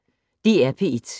DR P1